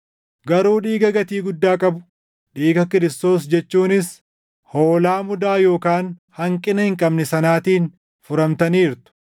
Garuu dhiiga gatii guddaa qabu, dhiiga Kiristoos jechuunis hoolaa mudaa yookaan hanqina hin qabne sanaatiin furamtaniirtu.